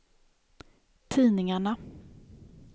tidningarna